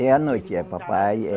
É, à noite, é papai eh.